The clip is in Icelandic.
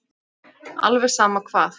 Alveg sama hvað.